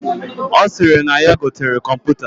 Osiri na yaa gotere kọmputa.